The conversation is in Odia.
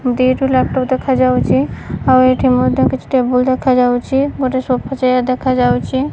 ଦିଟା ଲାପଟପ୍ ଦେଖାଯାଉଚି। ଆଉ ଏଇଠି ମଧ୍ୟ କିଛି ଟେବୁଲ୍ ଦେଖାଯାଉଚି। ଗୋଟେ ସୋଫା ଚେୟାର ଦେଖାଯାଉଚି।